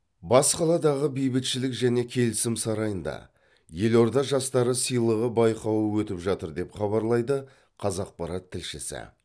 бас қаладағы бейбітшілік және келісім сарайында елорда жастары сыйлығы байқауы өтіп жатыр деп хабарлайды қазақпарат тілшісі